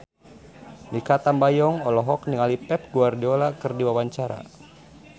Mikha Tambayong olohok ningali Pep Guardiola keur diwawancara